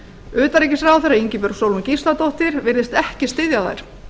utanríkisráðherra ingibjörg sólrún gísladóttir virðist ekki styðja þær